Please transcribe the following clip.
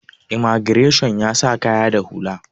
imagireshan ya sa kaya da hula